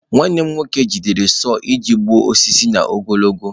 Nwanne m nwoke jidere sau iji gbuo osisi n'ogologo.